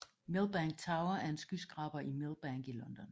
Millbank Tower er en skyskraber i Millbank i London